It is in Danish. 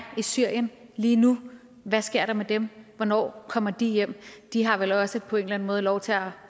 i syrien lige nu hvad sker der med dem hvornår kommer de hjem de har vel også på en eller anden måde lov til at